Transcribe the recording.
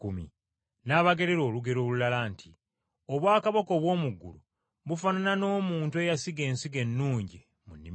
N’abagerera olugero olulala nti, “Obwakabaka obw’omu ggulu bufaanana n’omuntu eyasiga ensigo ennungi mu nnimiro ye,